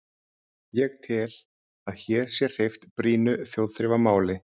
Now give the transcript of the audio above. Ég tel, að hér sé hreyft brýnu þjóðþrifamáli.